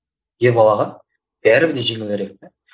ер балаға бәрібір де жеңілдірек те